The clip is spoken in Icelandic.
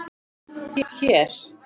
Hér?